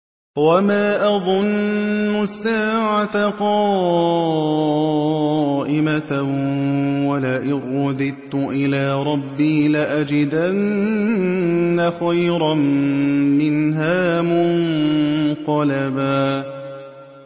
وَمَا أَظُنُّ السَّاعَةَ قَائِمَةً وَلَئِن رُّدِدتُّ إِلَىٰ رَبِّي لَأَجِدَنَّ خَيْرًا مِّنْهَا مُنقَلَبًا